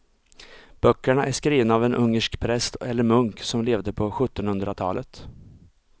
Böckerna är skrivna av en ungersk präst eller munk som levde på sjuttonhundratalet.